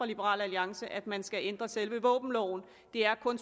liberal alliance at man skal ændre selve våbenloven det er kun